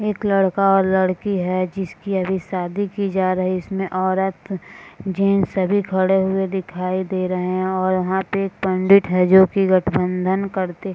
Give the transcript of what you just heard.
एक लड़का और लड़की है जिसकी अभी शादी की जा रही है। इसमें औरत जेन्ट्स अभी खड़े हुए दिखाई दे रहे है और यहां पे एक पंडित है जोकि गठबंधन करते--